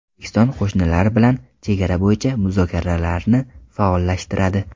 O‘zbekiston qo‘shnilar bilan chegara bo‘yicha muzokaralarni faollashtiradi.